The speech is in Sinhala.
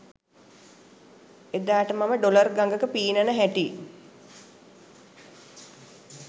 එදාට මම ඩොලර් ගඟක පීනන හැටි